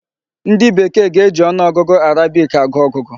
Ndị bekee ga-eji ọnụọgụ Arabic agụ ọgụgụ.